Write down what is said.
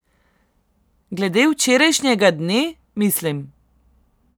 Glede včerajšnjega dne, mislim!